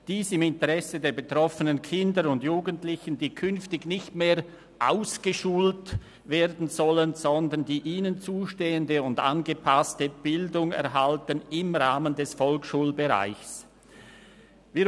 Dies ist im Interesse der betroffenen Kinder und Jugendlichen, die künftig nicht mehr «ausgeschult» werden sollen, sondern die ihnen zustehende und angepasste Bildung im Rahmen des Volksschulbereichs erhalten werden.